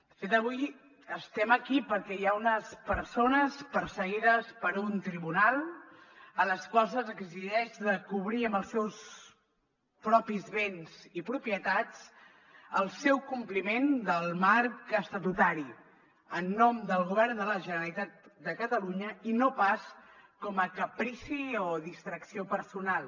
de fet avui estem aquí perquè hi ha unes persones perseguides per un tribunal a les quals se’ls exigeix de cobrir amb els seus propis béns i propietats el seu compliment del marc estatutari en nom del govern de la generalitat de catalunya i no pas com a caprici o distracció personal